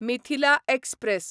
Mithila express